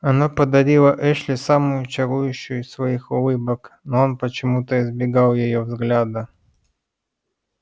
она подарила эшли самую чарующую из своих улыбок но он почему-то избегал её взгляда